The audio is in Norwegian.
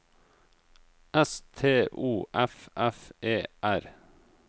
S T O F F E R